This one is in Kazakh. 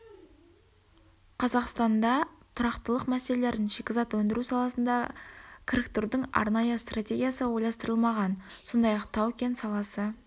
қазақстанда тұрақтылық мәселелерін шикізат өндіру саласына кіріктірудің арнайы стратегиясы ойластырылмаған сондай-ақ тау-кен саласы